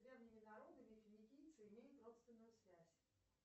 древними народами финикийцы имеют родственную связь